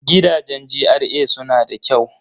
Gidajen GRA suna da kyau.